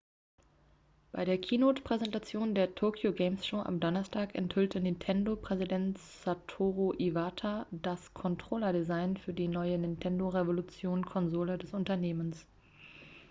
bei der keynote-präsentation der tokyo game show am donnerstag enthüllte nintendo-präsident satoru iwata das controller-design für die neue nintendo revolution-konsole des unternehmens